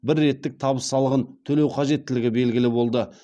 бір реттік табыс салығын төлеу қажеттілігі белгілі болды